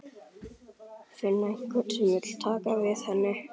Finna einhvern sem vill taka við henni.